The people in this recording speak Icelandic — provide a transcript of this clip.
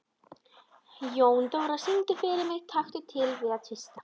Jóndóra, syngdu fyrir mig „Taktu til við að tvista“.